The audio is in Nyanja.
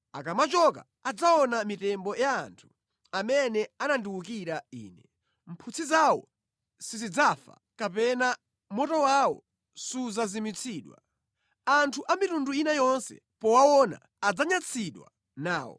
“Akamachoka adzaona mitembo ya anthu amene anandiwukira Ine. Mphutsi zawo sizidzafa, kapena moto wawo sudzazimitsidwa. Anthu a mitundu ina yonse powaona adzanyansidwa nawo.”